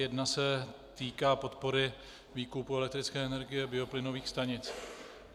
Jedna se týká podpory výkupu elektrické energie bioplynových stanic.